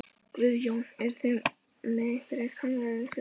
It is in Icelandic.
Guðjón: Eruð þið með einhverjar kannanir fyrir það?